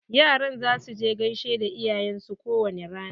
Yaran za su gaishe da iyayen su ko wani rana.